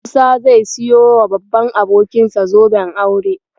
Musa zai siyowa babban abokinsa zoben aure.